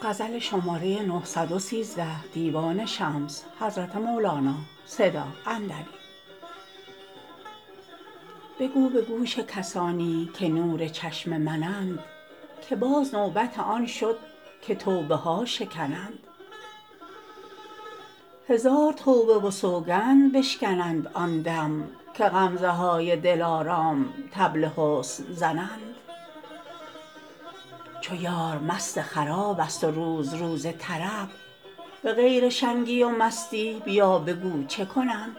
بگو به گوش کسانی که نور چشم منند که باز نوبت آن شد که توبه ها شکنند هزار توبه و سوگند بشکنند آن دم که غمزه های دلارام طبل حسن زنند چو یار مست خرابست و روز روز طرب به غیر شنگی و مستی بیا بگو چه کنند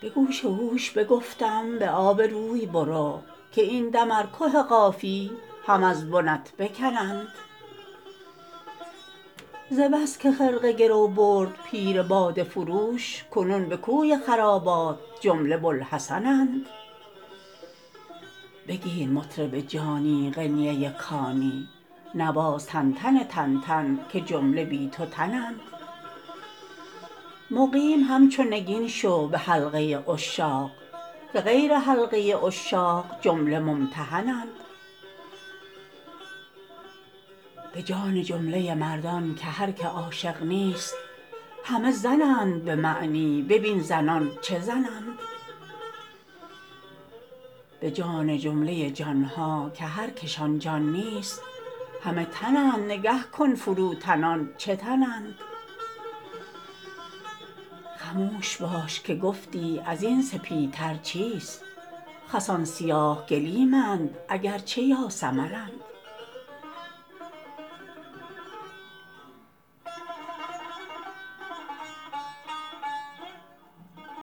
به گوش هوش بگفتم به آب روی برو که این دم ار که قافی هم از بنت بکنند ز بس که خرقه گرو برد پیر باده فروش کنون به کوی خرابات جمله بوالحسن اند بگیر مطرب جانی قنینه کانی نواز تنتن تنتن که جمله بی تو تنند مقیم همچو نگین شو به حلقه عشاق که غیر حلقه عشاق جمله ممتحنند به جان جمله مردان که هر که عاشق نیست همه زنند به معنی ببین زنان چه زنند به جان جمله جان ها که هر کش آن جان نیست همه تنند نگه کن فروتنان چه تنند خموش باش که گفتی از این سپیتر چیست خسان سیاه گلیمند اگر چه یاسمنند